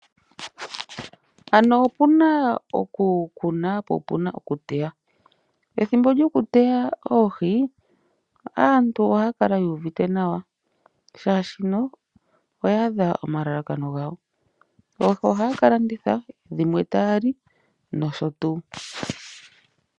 Ano opuna okukuna po opuna okuteya Ethimbo lyokuteya oohi aantu ohaya kala yu uvite nawa oshoka oya adha omalalakano gawo. Oohi ohaya kalanditha dhimwe tayali nosho tuu.